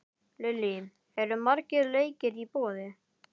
Lillý, eru margir leikir í boði?